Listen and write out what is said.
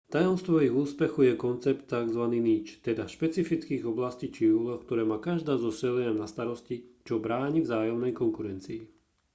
tajomstvom ich úspechu je koncept tzv niche teda špecických oblastí či úloh ktoré má každá zo šeliem na starosti čo bráni vzájomnej konkurencii